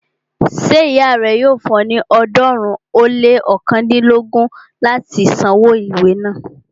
Ṣé ìyá rẹ yóò fún ọ ní ọ̀ọ́dúnrún ó lé ọ̀kándínlógún láti san owó ìwé náà